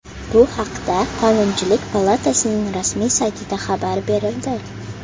Bu haqda Qonunchilik palatasining rasmiy saytida xabar berildi .